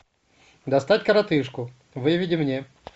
достать коротышку выведи мне